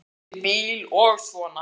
Börnin úti í bíl og svona.